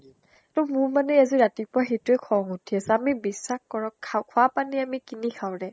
ত মোৰ মানে আজি ৰাতিপুৱা সেইটোয়ে খং উঠি আছে | আমি বিস্বাস কৰক, খোৱা পানী আমি কিনি খাওঁ ৰে।